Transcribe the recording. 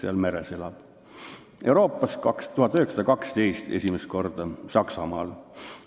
Euroopas esimest korda 1912, Saksamaal.